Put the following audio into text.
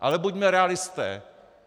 Ale buďme realisté.